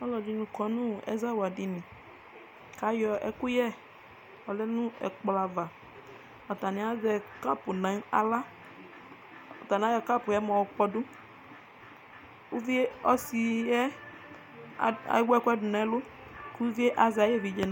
alʊɛɗɩnɩ ƙɔnʊ ɛzawlaɗɩnɩ atanɩaƴɔ ɛƙʊƴɛ ƴɔƴaɗʊnʊ ɛƙplɔ aʋa atanɩzɛ ɩɓɔ nʊ ahla mɛɛ aƴɔ ɩɓɔwanɩ ƴɔƙpɔɗʊ ɔsɩɗɩ ewʊ ɛƙʊ nʊ ɛlʊ ɩʋɩɗɩ azɛ aƴeʋɩɗje nahla